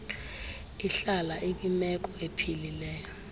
ihlale ikwimeko ephilileyo